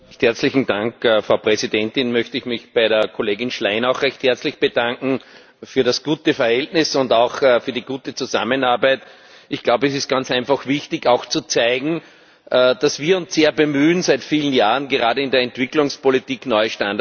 Frau Präsidentin! Ich möchte mich bei der Kollegin Schlein auch recht herzlich bedanken für das gute Verhältnis und auch für die gute Zusammenarbeit. Ich glaube, es ist ganz einfach wichtig, zu zeigen, dass wir uns seit vielen Jahren sehr bemühen, gerade in der Entwicklungspolitik neue Standards zu setzen.